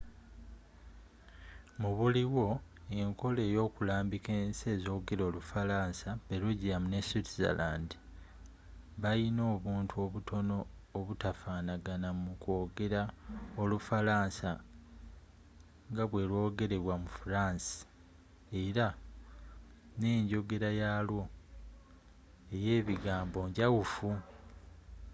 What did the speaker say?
mubuliwo enkola eyo kulambiika ensi ezogela olufalansa belgium ne switzerland bayina obuntu obutono obutafanaga mu kw’ogera olufalasa nga bwe lw’ogerebwa mu france, era nenjogera yalwo eye biganbo njawufu